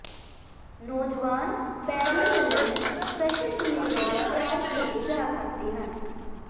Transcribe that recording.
ਨੌਜਵਾਨ ਪੈਰਲਲ ਕਈ ਸਪੈਸ਼ਲਟੀਜ਼ ਵਿੱਚ ਤਿਆਰ ਕੀਤੇ ਜਾ ਸਕਦੇ